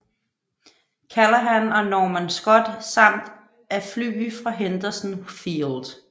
Callaghan og Norman Scott samt af fly fra Henderson Field